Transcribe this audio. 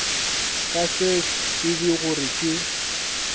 ka se tsebe gore ke